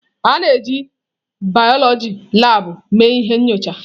A na-eji biọloji labụ mee ihe nyocha.